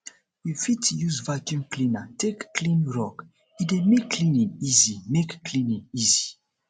we fit use vaccum cleaner take clean rug e dey make cleaning easy make cleaning easy